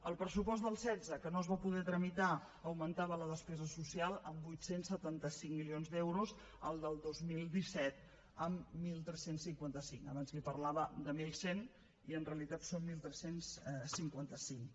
el pressupost del setze que no es va poder tramitar augmentava la despesa social en vuit cents i setanta cinc milions d’euros el del dos mil disset en tretze cinquanta cinc abans li parlava de mil cent i en realitat són tretze cinquanta cinc